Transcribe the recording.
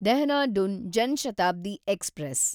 Dehradun Jan Shatabdi express